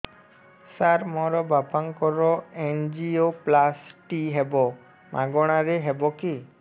ସାର ମୋର ବାପାଙ୍କର ଏନଜିଓପ୍ଳାସଟି ହେବ ମାଗଣା ରେ ହେବ କି